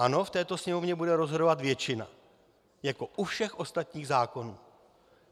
Ano, v této sněmovně bude rozhodovat většina, jako u všech ostatních zákonů.